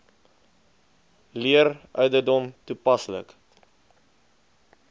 leer ouderdom toepaslik